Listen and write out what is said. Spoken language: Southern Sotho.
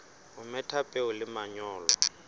o metha peo le manyolo